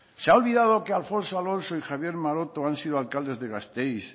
se ha olvidado que alfonso alonso y javier maroto han sido alcaldes de gasteiz